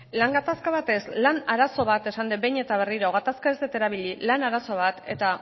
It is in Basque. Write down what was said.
lan gatazka bat ez lan arazo bat esan dut behin eta berriro gatazka ez dut erabili lan arazo bat eta